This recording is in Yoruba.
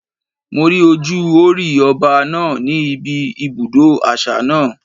Mo rí ojú Hórì Ọba náà ní ibi ibùdó àṣà náà.